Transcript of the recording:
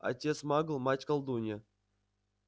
отец магл мать колдунья